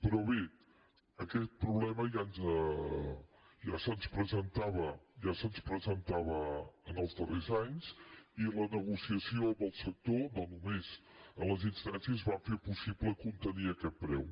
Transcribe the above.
però bé aquest problema ja se’ns presentava els darrers anys i la negociació amb el sector no només a les instàncies va fer possible contenir aquest preu